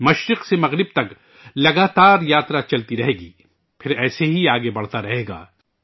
پورب سے پشچم تک مسلسل سفر چلتا رہے گا، پھر ایسے ہی یہ آگے بڑھتا رہے گا